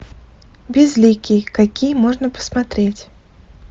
безликий какие можно посмотреть